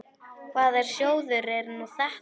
Hvaða sjóður er nú þetta?